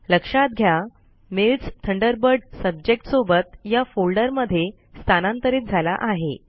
लक्षात घ्या mails Thunderbird subject सोबत या फोल्डर मध्ये स्थानांतरीत झाला आहे